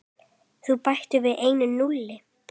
Teflt á tæpasta vað.